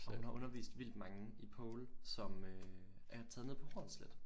Og hun har undervist vildt mange i pole som øh er taget ned på Hornsleth